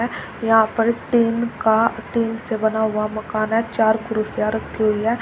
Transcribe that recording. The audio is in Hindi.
यहां पर टीन का टीन से बना हुआ मकान है चार कुर्सियां रखी हुई हैं।